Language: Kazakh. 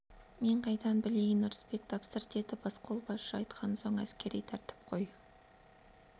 мен қайдан білейін ырысбек тапсыр деді басқолбасшы айтқан соң әскери тәртіп қой